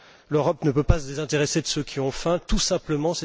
L'Europe ne peut se désintéresser de ceux qui ont faim tout simplement.